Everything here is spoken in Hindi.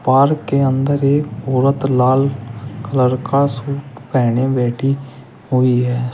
पार्क के अंदर एक औरत लाल कलर का सूट पहने बैठी हुई है।